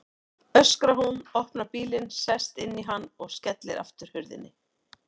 öskrar hún, opnar bílinn, sest inn í hann og skellir aftur hurðinni.